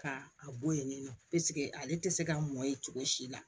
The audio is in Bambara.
Ka a bɔ yen nɔ ale tɛ se ka mɔn yen cogo si la